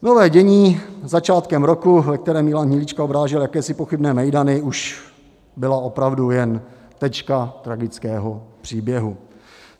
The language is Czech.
Nové dění začátkem roku, ve kterém Milan Hnilička obrážel jakési pochybné mejdany, už byla opravdu jen tečka tragického příběhu.